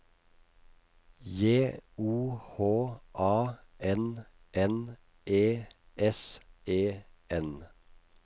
J O H A N N E S E N